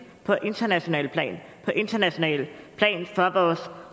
på internationalt plan internationalt plan af vores